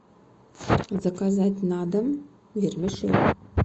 заказать на дом вермишель